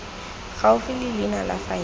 gaufi le leina la faele